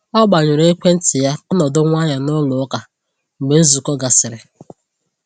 O gbanyụrụ ekwentị ya ka ọ nọdụ nwayọ n’ụlọ ụka mgbe nzukọ gasịrị.